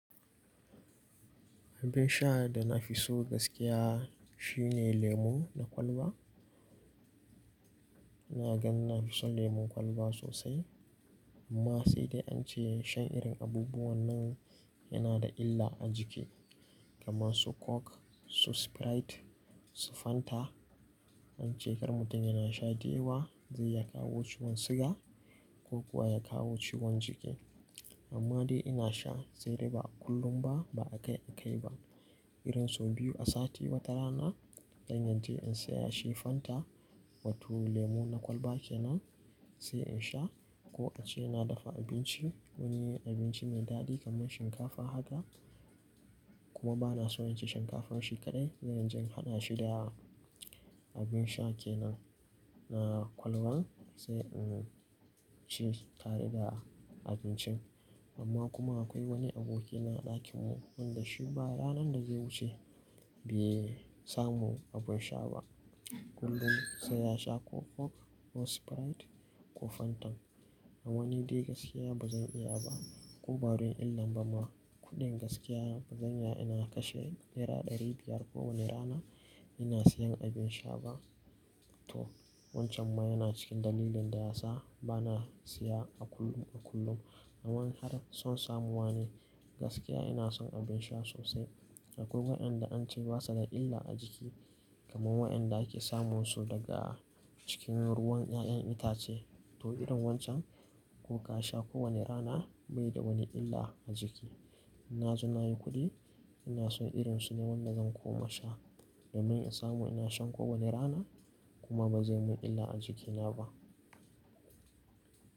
Abin sha da na fi so gaskiya shi ne lemo na kwalba. iNa gan na fi shan lemun kwalba sosai. Amma sai dai an ce shan irin abubuwan nan yana da illa a jiki, kamar su coke, su sprite, su fanta. An ce kar mutum yana sha da yawa zai ya kawo ciwon siga ko kuwa ya kawo ciwon jiki. Amma dai ina sha, sai dai ba a kullum ba, ba a kai a kai ba. Irin sau biyu a sati watarana, dan zan je in saya shi fanta wato lemu na kwalba kenan sai in sha ko an ce na dafa abinci, wani abinci mai daɗi kamar shinkafa haka. Kuma ba na so in ci shinkafan shi kaɗai, zan je in hada shi da abin sha kenan na kwalban sai in ci tare da abincin. Amma kuma akwai wani aboki na a ɗakin mu wanda shi ba ranar da zai wuce bai samu abin sha ba. Kullum sai ya sha ko coke ko sprite ko fanta. Amma ni dai gaskiya ba zan iya ba. Ko don din nan ba ma kuɗin gaskiya ba zan iya ina kashe nera ɗari biyar kowane rana ina siyan abin sha ba. To wancan ma yana cikin dalilin da ya sa ba na siya a kullum a kullum. Amma har son samuwa ne. Gaskiya ina son abin sha sosai. Akwai wayanda an ce basa da illa a jiki, kamar wayanda ake samun su daga cikin ruwan ƴaƴan itace. To irin wancan ko ka sha kowane rana bai da wani illa a jiki. In na ji nayi kuɗi ina so irin su ne wanda zan koma sha. Damin in samu ina shan kowane rana kuma ba zai mun illa a jikina ba.